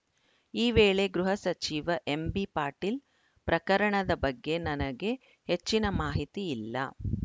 ಈ ವೇಳೆ ಗೃಹ ಸಚಿವ ಎಂಬಿಪಾಟೀಲ್‌ ಪ್ರಕರಣದ ಬಗ್ಗೆ ನನಗೆ ಹೆಚ್ಚಿನ ಮಾಹಿತಿ ಇಲ್ಲ